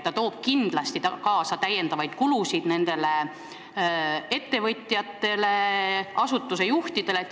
See toob kindlasti kaasa täiendavaid kulusid ettevõtjatele ja asutuste juhtidele.